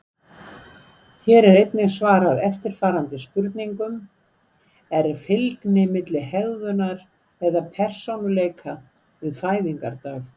Hér er einnig svarað eftirfarandi spurningum: Er fylgni milli hegðunar eða persónuleika við fæðingardag?